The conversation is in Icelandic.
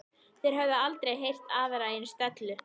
Þeir höfðu aldrei heyrt aðra eins dellu.